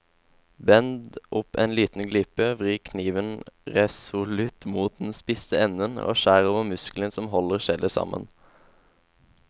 Bend opp en liten glipe, vri kniven resolutt mot den spisse enden og skjær over muskelen som holder skjellet sammen.